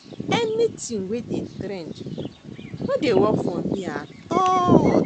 Anything wey dey trend no dey work for me at all